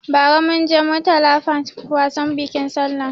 Ba ra munje Murtala park wasan bikin sallah